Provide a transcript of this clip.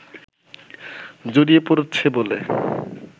জড়িয়ে পড়ছে বলে